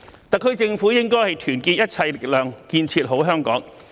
特區政府應該團結一切力量，建設好香港。